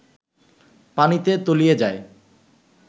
পানিতে তলিয়ে যায়